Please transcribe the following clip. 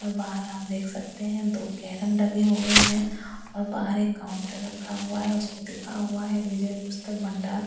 और बाहर आप देख सकते हैं दो कैरम लगे हुए हैं और बाहर एक काउंटर रखा हुआ है उसमें लिखा हुआ है विजय पुस्तक भंडार--